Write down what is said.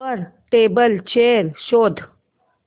वर table chair शोध